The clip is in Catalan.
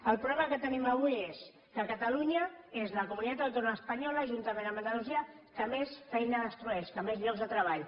el problema que tenim avui és que catalunya és la comunitat autònoma espanyola juntament amb andalusia que més feina destrueix més llocs de treball